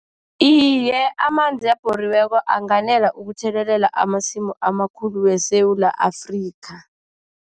Iye, amanzi abhoriweko anganela ukuthelelela amasimu amakhulu weSewula Afrika.